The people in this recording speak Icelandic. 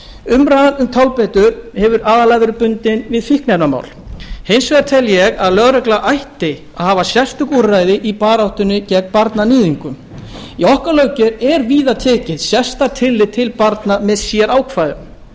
umræðan um tálbeitur hefur aðallega verið bundin við fíkniefnamál hins vegar tel ég að lögregla ætti að hafa sérstök úrræði í baráttunni gegn barnaníðingum í okkar löggjöf er víða tekið sérstakt tillit til barna með sérákvæðum ég er